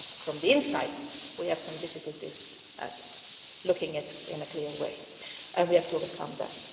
Sometimes from the inside we have some difficulties looking at it in a clear way and we have to overcome